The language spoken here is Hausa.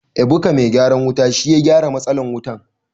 Ebuka mai gyaran wuta shi ya gyara matsalar wutan.